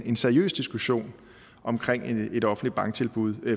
en seriøs diskussion omkring et offentligt tilbud